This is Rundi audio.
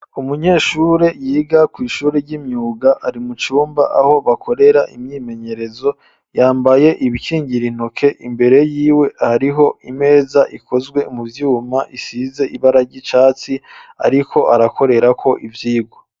Umunyeshure, yiga kw'ishure ry'imyuga, ari mu cumba, aho bakorera imyimenyerezo; yambaye ibikingira intoke, imbere yiwe, hariho imeza, ikozwe mu vyuma, isize ibara ry'icatsi, ariko arakorerako ivyigwa.